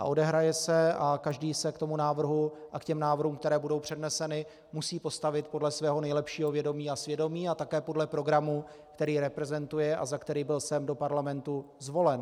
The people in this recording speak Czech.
A odehraje se a každý se k tomu návrhu a k těm návrhům, které budou předneseny, musí postavit podle svého nejlepšího vědomí a svědomí a také podle programu, který reprezentuje a za který byl sem do parlamentu zvolen.